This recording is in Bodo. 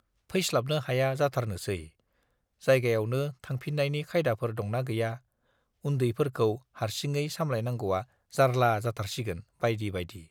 फैस्लाबनो हाया जाथारनोसै, जायगायावनो थाफिन्नायनि खायदाफोर दंना गैया, उन्दैफोरखौ हार्सिङै सामलायनांगौवा जार्ला जाथारसिगोन - बाइदि बाइदि।